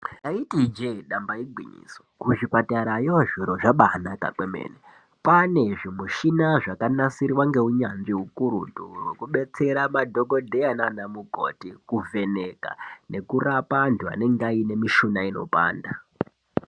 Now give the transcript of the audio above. Taiti ijee damba igwinyiso kuzvipatara yo kwabanaka kwemene kwaana zvimichina zvakanasirwa nheunyanzvi ukurutu hwekubatsira madhokodheya naana mukoti kuvhenaka nekurapa antu anonga aine mishuna inopanda .